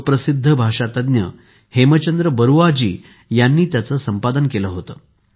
सुप्रसिद्ध भाषातज्ञ हेमचंद्र बरुआ यांनी त्याचे संपादन केले होते